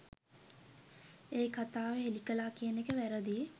ඒකතාව හෙලිකලා කියන එක වැරදියි